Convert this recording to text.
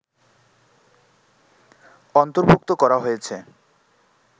অন্তর্ভুক্ত করা হয়েছে